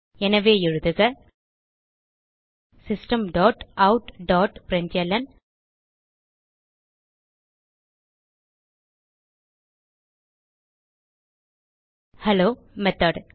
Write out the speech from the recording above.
எனவே எழுதுக system dot out dot println hello method